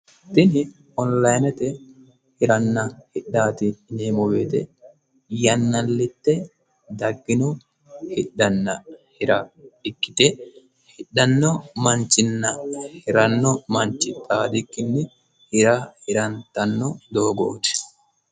tini onlinete hiranna hidhaati yineemmo wote yannallitte daggino hidhanna hira ikkite hidhanno manchinna hiranno manchi xaadikki hira hirantanno doogooti.